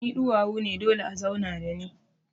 Ni duwawu ne dole a zauna da ni.